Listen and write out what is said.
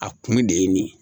A kun de ye nin ye